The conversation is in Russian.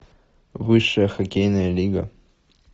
высшая хоккейная лига